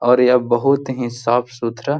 और यह बहुत ही साफ सुथरा --